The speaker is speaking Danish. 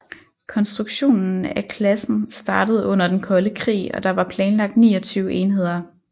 Konstruktionen af klassen startede under den kolde krig og der var planlagt 29 enheder